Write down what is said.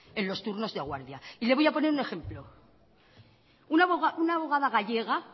en los turnos de guardia y le voy a poner un ejemplo una abogada gallega